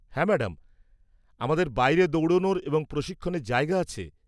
হ্যাঁ ম্যাডাম, আমাদের বাইরে দৌড়ানোর এবং প্রশিক্ষণের জায়গা আছে।